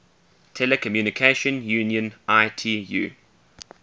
telecommunication union itu